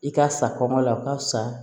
I ka sa kɔngɔ la o ka fisa